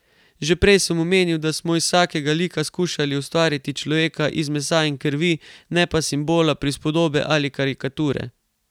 Že prej sem omenil, da smo iz vsakega lika skušali ustvariti človeka iz mesa in krvi, ne pa simbola, prispodobe ali karikature.